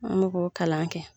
An mo k'o kalan kɛ.